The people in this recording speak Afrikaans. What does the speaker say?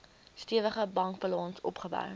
stewige bankbalans opgebou